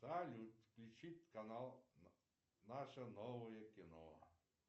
салют включить канал наше новое кино